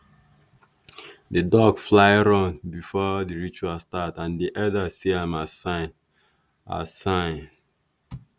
that duck fly run before the ritual start and the elders see am as sign. as sign.